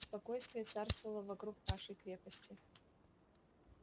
спокойствие царствовало вокруг нашей крепости